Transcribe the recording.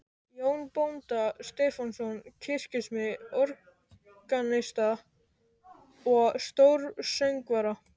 Jón bónda Stefánsson, kirkjusmið, organista og stórsöngvara.